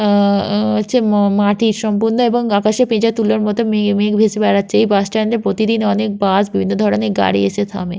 আহ আ হচ্ছে ম মাটির সম্পূর্ণ এবং আকাশে পেঁজা তুলোর মতো মেঘ মেঘ ভেসে বেড়াচ্ছে এই বাস স্ট্যান্ড এ প্রতিদিন অনেক বাস বিভিন্ন ধরনের গাড়ি এসে থামে।